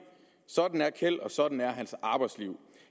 sådan er kjeld og sådan er hans arbejdsliv